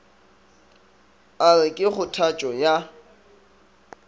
a re ke kgothatšo ya